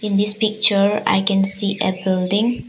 In this picture I can see a building.